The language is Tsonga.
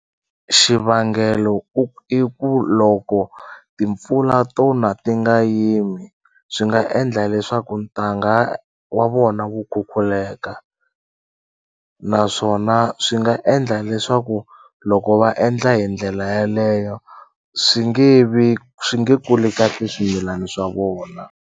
Xivangelo i ku loko timpfula to na ti nga yimi swi nga endla leswaku ntanga wa vona wu khukhuleka naswona swi nga endla leswaku loko va endla hi ndlela yaleyo swi nge vi swi nge kuli kahle swimilani swa vona.